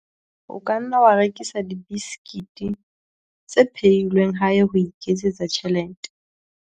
o ka nna wa rekisa dibesekete tse phehilweng hae ho iketsetsa tjhelete